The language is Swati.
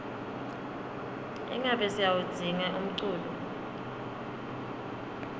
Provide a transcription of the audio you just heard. ingabe siyawudzinga umculo